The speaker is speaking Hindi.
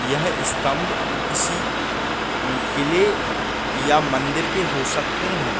यह स्तंभ किसी किले या मंदिर के हो सकते हैं।